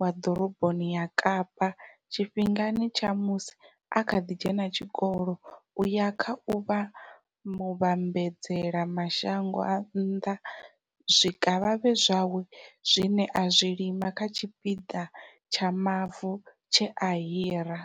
wa Ḓoroboni ya Kapa, tshifhingani tsha musi a kha ḓi dzhena tshikolo u ya kha u vha muvhambadzela mashango a nnḓa zwikavhavhe zwawe zwine a zwi lima kha tshipiḓa tsha mavu tshe a hira.